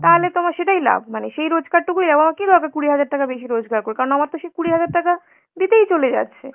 তালে তো আমার সেটাই লাভ মানে সেই রোজগারটুকুই, আমার কি দরকার কুড়ি হাজার টাকা বেশি রোজগার করে, কারণ আমার তো সেই কুড়ি হাজার টাকা দিতেই চলে যাচ্ছে.